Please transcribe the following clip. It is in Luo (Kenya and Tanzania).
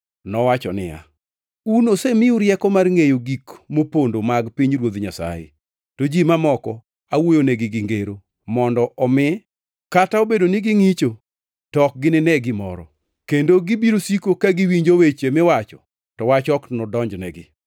Nowacho niya, “Un osemiu rieko mar ngʼeyo gik mopondo mag pinyruoth Nyasaye, to ji mamoko awuoyonegi gi ngero, mondo omi, “ ‘kata ka obedo ni gingʼicho, to ok ginine gimoro; kendo gibiro siko ka giwinjo weche miwacho, to wach ok nodonjnegi.’ + 8:10 \+xt Isa 6:9\+xt*